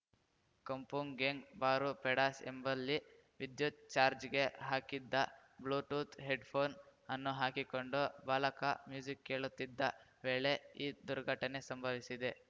Kampung Gang Baru Pedas ಎಂಬಲ್ಲಿ ವಿದ್ಯುತ್‌ charge ಗೆ ಹಾಕಿದ್ದ ಬ್ಲೂಟೂತ್‌ ಹೆಡ್‌ಫೋನ್‌ ಅನ್ನು ಹಾಕಿಕೊಂಡು ಬಾಲಕ ಮ್ಯೂಸಿಕ್‌ ಕೇಳುತ್ತಿದ್ದ ವೇಳೆ ಈ ದುರ್ಘಟನೆ ಸಂಭವಿಸಿದೆ